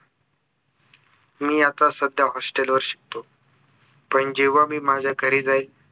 मी आता सध्या hostel वर शिकतो पण जेव्हा मी माझ्या घरी जाईल